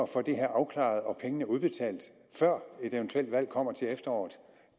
få det her afklaret og pengene udbetalt før et eventuelt valg kommer til efteråret